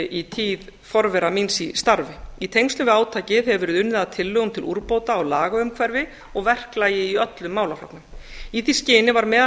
í tíð forvera míns í starfi í tengslum við átakið hefur verið unnið að tillögum til úrbóta á lagaumhverfi og verklagi í öllum málaflokkum í því skyni var meðal